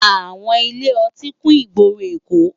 Áwòn ilé òtín kún igbóró Ékó